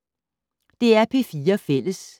DR P4 Fælles